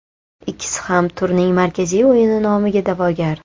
Ikkisi ham turning markaziy o‘yini nomiga da’vogar.